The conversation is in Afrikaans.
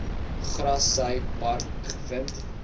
grassy park gevind